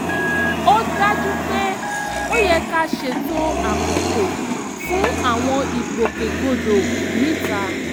ó dájú pé ó yẹ ká ṣètò àkókò fún àwọn ìgbòkègbodò níta